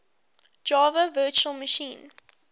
java virtual machine